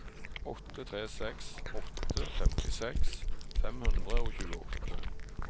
åtte tre seks åtte femtiseks fem hundre og tjueåtte